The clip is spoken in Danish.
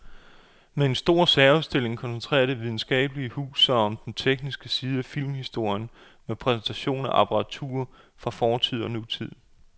Med en stor særudstilling koncentrerer det videnskabelige hus sig om den tekniske side af filmhistorien med præsentation af apparatur fra fortid og nutid.